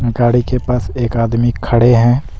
गाड़ी के पास एक आदमी खड़े हैं।